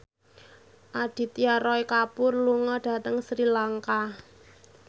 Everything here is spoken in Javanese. Aditya Roy Kapoor lunga dhateng Sri Lanka